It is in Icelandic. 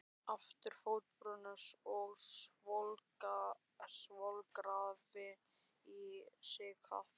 Aftur fótbrotinn og svolgraði í sig kaffið.